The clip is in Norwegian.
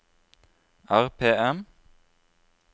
RPM